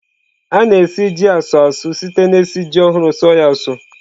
A na-esi ji asu a su site na-esi ji ohurụ suọ ya asụ.